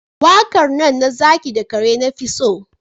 Waƙar nan na zaki da kare na fi so